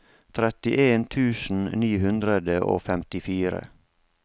trettien tusen ni hundre og femtifire